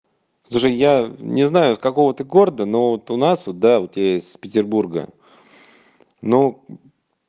даже я не знаю с какого ты города но вот у нас вот да я с петербурга ну